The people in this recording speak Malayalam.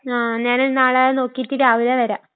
ആ...ഞാന് നാളെ നോക്കീറ്റ്‌ രാവിലെ വരാം.